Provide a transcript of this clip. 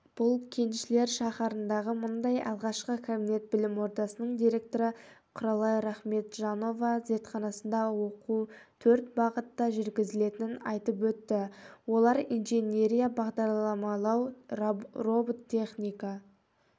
бұл кеншілер шаһарындағы мұндай алғашқы кабинет білім ордасының директоры құралай рахметжанова зертханасында оқу төрт бағытта жүргізілетінін айтыпөтті олар инженерия бағдарламалау робототехника